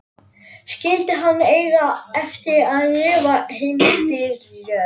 Skyldi hann eiga eftir að lifa heimsstyrjöld?